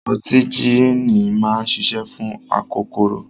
Ọtí jííni máa ń ṣiṣẹ́ fún akokoro.